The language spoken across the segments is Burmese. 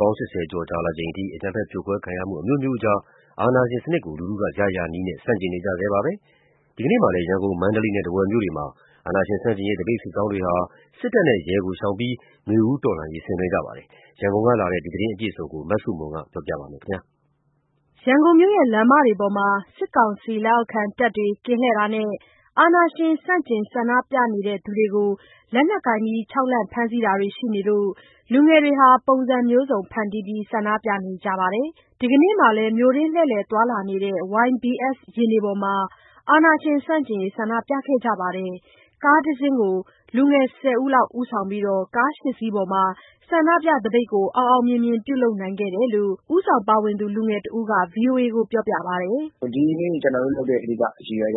ပေါင်း ၈၀ ကျော် ကြာလာချိန်အထိ အကြမ်းဖက်ဖိနှိပ်ခံရမှုတွေ အမျိုးမျိုးကြား ပြည်သူတွေဟာ အာဏာရှင်စနစ်ကို ရရာနည်းနဲ့ ဆန့်ကျင်နေကြတုန်းပါ။ ဒီကနေ့မှာလည်း ရန်ကုန်၊ မန္တလေးနဲ့ ထားဝယ်မြို့တွေမှာ အာဏာရှင်ဆန့်ကျင်ရေး သပိတ်စစ်ကြောင်းတွေဟာ လက်နက်ကိုင်တွေကို ရှောင်ကြဉ်ပြီး နွေဦးတော်လှန်ရေးကို ဆင်နွှဲခဲ့ကြပါတယ်။ ရန်ကုန်ကလာတဲ့ သတင်းအပြည့်အစုံကို မဆုမွန်က တင်ဆက်ပေးမှာပါ။ ရန်ကုန်မြို့ လမ်းမတွေပေါ်မှာ စစ်ကောင်စီလက်အောက်ခံ တပ်တွေ ကင်းလှည့်တာနဲ့ အာဏာရှင်ဆန့်ကျင် ဆန္ဒပြသူတွေကို လက်နက်ကိုင်ခြောက်လှန့် ဖမ်းဆီးတာတွေ ရှိနေလို့ လူငယ်တွေဟာ ပုံစံမျိုးစုံ ဖန်တီးပြီး ဆန္ဒပြနေကြပါတယ်။ ဒီကနေ့မှာလည်း မြို့တွင်းလှည့်လည်သွားလာနေတဲ့ YBS ယာဉ်တွေပေါ်မှာ အာဏာရှင်ဆန့်ကျင်ရေး ဆန္ဒပြခဲ့ကြပါတယ်။ ကားတစီးကို လူငယ် ၁၀ ယောက်ဦးဆောင်ပြီး ကား ၈ စီးပေါ်မှာ ဆန္ဒပြသပိတ်ကို အောင်အောင်မြင်မြင် ပြုလုပ်နိုင်ခဲ့တယ်လို့ ဦးဆောင်ပါဝင်သူ လူငယ်တဦးက ဗွီအိုအေကိုပြောပါတယ်။ “ဒီနေ့ ကျနော်တို့လုပ်တဲ့ ရည်ရွယ်ချက်က ရ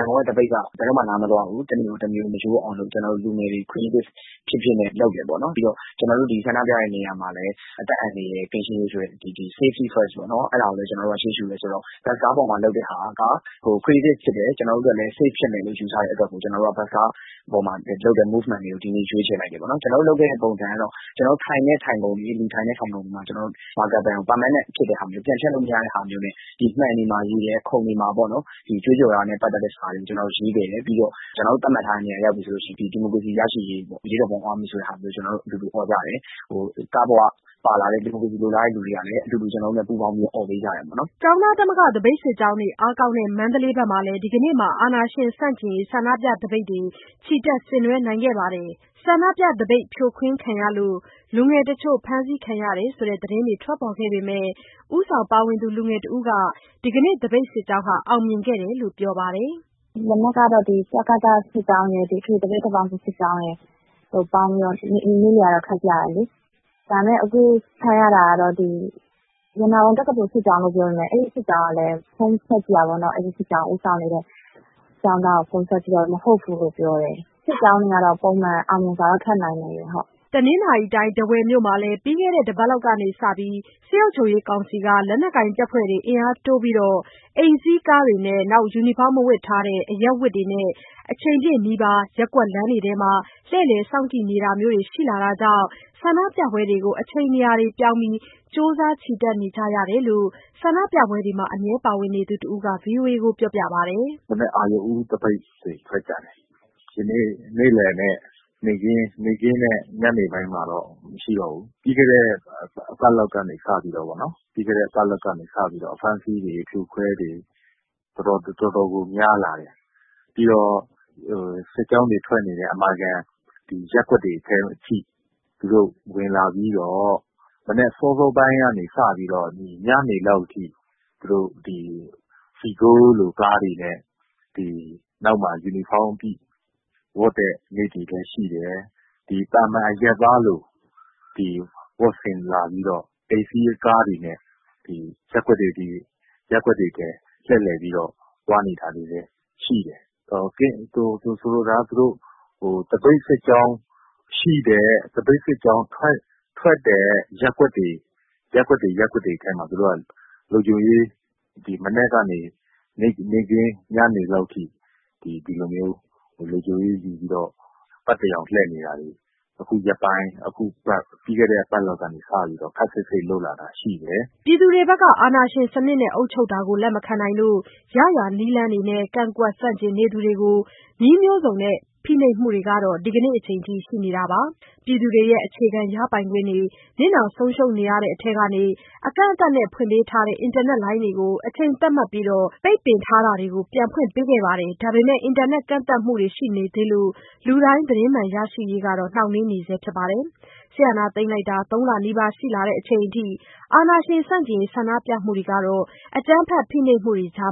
န်ကုန်က သပိတ်က ဘယ်တော့မှ နားမသွားဘူး။ တနေ့တမျိုး မရိုးအောင်လို့ ကျနော်တို့လူငယ်တွေ Creative ဖြစ်ဖြစ်နဲ့ လုပ်တယ်ပေါ့နော်။ ပြီးတော့ ကျနော်တို့ ဒီဆန္ဒပြတဲ့နေရာမှာလည်း အသက်အန္တရာယ်ကင်းရှင်းရေး ဆိုတဲ့ Safety First ပေါ့နော်... အဲဒါကိုလည်း ကျနော်တို့က ရှေးရှုတယ်ဆိုတော့ ဘတ်စ်ကားပေါ်မှာလုပ်တဲ့ဟာက Creative ဖြစ်တယ်။ ကျနော်တို့အတွက်လည်း Safe ဖြစ်တယ်လို့ ယူဆတဲ့အတွက် ဘတ်စ်ကားပေါ်မှာလုပ်တဲ့ Movement လေးကို ဒီနေ့ ရွေးချယ်လိုက်တယ်ပေါ့နော်။ ကျနော်တို့လုပ်တဲ့ပုံစံကတော့ ထိုင်ခုံတွေမှာ Marker Pen ကို ပြန်ဖျက်လို့မရတဲ့ဟာမျိုးနဲ့ မှန်တွေ၊ ခုံတွေမှာ ကြွေးကြော်တာနဲ့ ပတ်သက်တဲ့စာတွေကို ရေးခဲ့တယ်။ ကျနော်တို့ သတ်မှတ်ထားတဲ့နေရာ ရောက်ပြီဆိုရင် ဒီမိုကရေစီရရှိရေး၊ အရေးတော်ပုံအောင်ရမည် ဆိုတာမျိုး အော်ကြတယ်။ ကားပေါ်မှာပါလာတဲ့ ဒီမိုကရေစီ လိုလားတဲ့သူတွေကလည်း အတူတူအော်ပေးကြတယ်။” ကျောင်းသားသမဂ္ဂ သပိတ်စစ်ကြောင်းတွေ အားကောင်းတဲ့ မန္တလေးမှာလည်း ဒီကနေ့မှာ အာဏာရှင်ဆန့်ကျင်ရေး ဆန္ဒပြသပိတ် ချီတက်ဆင်နွှဲနိုင်ခဲ့ပါတယ်။ ဆန္ဒပြသပိတ် ဖြိုခွင်းခံရလို့ လူငယ်တချို့ ဖမ်းဆီးခံရတယ်ဆိုတဲ့ သတင်းတွေထွက်ပေါ်ခဲ့ပေမဲ့ ဦးဆောင်ပါဝင်သူ လူငယ်တဦးက ဒီနေ့သပိတ်စစ်ကြောင်းလည်း အောင်မြင်ခဲ့တယ်လို့ ပြောပါတယ်။ “ဒီနေ့ကတော့ တကသစစ်ကြောင်းရယ်၊ အထွေထွေသပိတ် တပ်ပေါင်းစုစစ်ကြောင်းရယ် ပေါင်းပြီးတော့ နေ့လယ်က ထွက်ကြတယ်။ ဒါပေမဲ့ အခုအဖမ်းခံရတာက ရတနာပုံစစ်ကြောင်းလို့ ပြောပေမဲ့ အဲဒီစစ်ကြောင်းကို ဦးဆောင်နေတဲ့ကျောင်းသားကို ဖုန်းဆက်ကြည့်တာတော့ မဟုတ်ဘူးလို့ပြောတယ်။ စစ်ကြောင်းတွေကတော့ ပုံမှန် အောင်မြင်စွာတော့ ထွက်နိုင်နေတယ်။” တနင်္သာရီတိုင်း၊ ထားဝယ်မြို့မှာ ပြီးခဲ့တဲ့ တစ်ပတ်လောက်ကစပြီး စစ်ကောင်စီက လက်နက်ကိုင်တပ်ဖွဲ့တွေ အင်အားတိုးပြီး အိမ်စီးကားတွေနဲ့ ယူနီဖောင်းမဝတ်ဘဲ အရပ်ဝတ်နဲ့ အချိန်ပြည့် နီးပါး ရပ်ကွက်လမ်းတွေအတွင်းမှာ လှည့်လည် စောင့်ကြည့်နေတာမျိုးတွေ ရှိလာတာကြောင့် ဆန္ဒပြပွဲတွေကို အချိန်နေရာတွေ ပြောင်းပြီး ကြိုးစား ချီတက်နေကြရတယ်လို့ ဆန္ဒပြပွဲတွေမှာ အမြဲ ပါဝင်နေသူ တစ်ဦးက ဗွီအိုအေကို ပြောပါတယ်။ “မနက် အရုဏ်ဦး သပိတ်တွေ ထွက်ကြတယ်။ ဒီနေ့ နေ့လယ်နဲ့ ညနေပိုင်းမှာတော့ မရှိတော့ဘူး။ ပြီးခဲ့တဲ့ တစ်ပတ်လောက်ကနေ စပြီးတော့ အဖမ်းအဆီးတွေ အဖြိုအခွဲတွေ တော်တော်ကို များလာတယ်။ ပြီးတော့ စစ်ကြောင်းတွေ ထွက်နေတဲ့ အမာခံ ရပ်ကွက်တွေထဲထိ သူတို့ ဝင်လာပြီးတော့ မနက် စောစောပိုင်းကနေ ညနေလောက်ထိ အိမ်စီးကားတွေနဲ့ နောက်မှာပါတဲ့သူတွေက ယူနီဖောင်းဝတ်တဲ့ နေ့တွေလည်းရှိတယ်။ သာမာန်အရပ်သားလို ဝတ်ဆင်လာပြီးတော့ အိမ်စီးကားတွေနဲ့ ရပ်ကွက်တွေထဲ လှည့်လည်သွားနေတာမျိုးတွေလည်း ရှိတယ်။ သပိတ်စစ်ကြောင်းထွက်တဲ့ ရပ်ကွက်တွေထဲမှာ သူတို့က လုံခြုံရေးတွေ မနက်ကနေ ညနေလောက်ထိ လုံခြုံရေး ယူပြီး ပတ်ရောင်လှည့်နေတာတွေ ခုရက်ပိုင်း၊ ပြီးခဲ့တဲ့ တစ်ပတ်လောက်ကနေ စပြီးတော့ ခပ်စိတ်စိတ် လုပ်လာတာရှိတယ်။” အာဏာရှင်စနစ်နဲ့ အုပ်ချုပ်တာကို လက်မခံနိုင်လို့ ရရာနည်းနဲ့ ကန့်ကွက်ဆန့်ကျင်နေသူတွေကို နည်းမျိုးစုံသုံးဖိနှိပ်မှုတွေကတော့ ဒီကနေ့အချိန်အထိ ရှိနေတာပါ။ ပြည်သူတွေရဲ့ အခြေခံရပိုင်ခွင့်တွေ နစ်နာဆုံးရှုံးနေတဲ့အထဲက အကန့်အသတ်နဲ့ ဖွင့်ပေးထားတဲ့ အင်တာနက်လိုင်းတွေကို အချိန်သတ်မှတ်ပြီး ပိတ်ပင်ထားတာတွေကို ပြန်ဖွင့်ပေးခဲ့ပေမဲ့ အင်တာနက်ကန့်သတ်မှုတွေ ရှိနေသေးလို့ လူတိုင်းသတင်းမှန်ရရှိရေး နှောင့်နှေးနေပါတယ်။ စစ်အာဏာသိမ်းတာ ၃ လနီးပါး ရှိလာချိန်အထိ အာဏာရှင်ဆန့်ကျင်ရေး ဆန္ဒပြမှုတွေဟာ အကြမ်းဖက်ဖိနှိပ်မှုတွေကြား